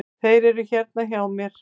Þeir eru hérna hjá mér.